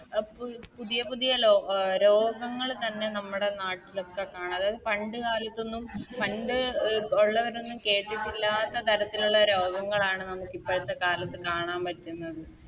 A പു പുതിയ പുതിയ ലോക് രോഗങ്ങള് തന്നെ നമ്മടെ നാട്ടിലൊക്കെ കാണാ അതായത് പണ്ട് കാലത്തൊന്നും പണ്ട് അഹ് ഒള്ളവരൊന്നും കേട്ടിട്ടില്ലാത്ത തരത്തിലുള്ള രോഗങ്ങളാണ് നമുക്കിപ്പഴത്തെ കാലത്ത് കാണാൻ പറ്റുന്നത്